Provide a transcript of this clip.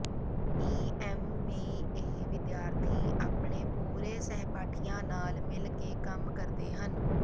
E M B A ਵਿਦਿਆਰਥੀ ਆਪਣੇ ਪੂਰੇ ਸਹਿਪਾਠੀਆਂ ਨਾਲ ਮਿਲ ਕੇ ਕੰਮ ਕਰਦੇ ਹਨ